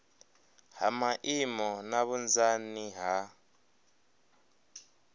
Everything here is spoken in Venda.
ha maimo na vhunzani ha